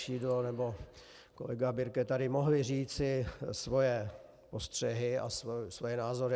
Šidlo nebo kolega Birke tady mohli říci svoje postřehy a svoje názory.